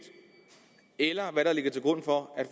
eller hvad der ligger til grund for at